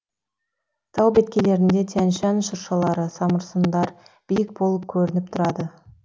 тау беткейлерінде тянь шань шыршалары самырсындар биік болып көрініп тұрады